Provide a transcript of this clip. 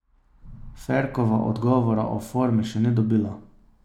Ferkova odgovora o formi še ni dobila.